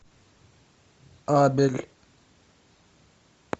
абель